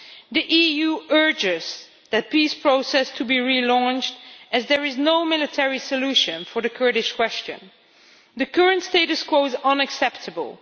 The EU urges that the peace process be relaunched as there is no military solution to the Kurdish question. The current status quo is unacceptable.